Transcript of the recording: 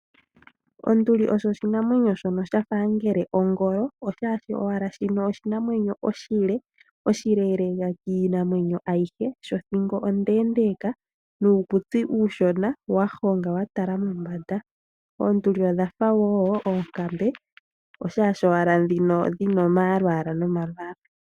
Onduli osho oshinamwenyo shono shafa angele ongoyo oshashi owala shino oshinamwenyo oshile oshileleka kiinamwenyo ayihe shothingo onde ndeka nuukutsi uushona wahonga watala mombanda. Oonduli odhafa oonkambe oshashi owala ndhino dhina omalwala nomalwala.